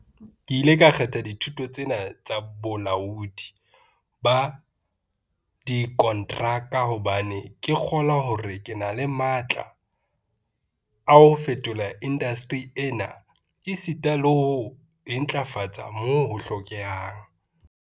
Ke ile ka kgetha dithuto tse na tsa bolaodi ba dikonteraka hobane ke kgolwa hore ke na le matla a ho fetola indasteri ena esita le ho e ntlafatsa moo ho hlokehang.